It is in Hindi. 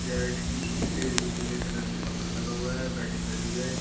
यह इस स्टेज पे पीले कलर के कपड़े लगा हुआ है पैडी भी लगी हुई है इसकी।